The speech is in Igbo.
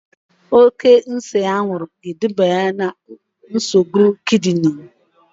Oke ise anwụrụ ga-eduba na nsogbu kidini